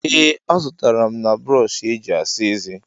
ee, azụtara m na brọọshị eji asa eze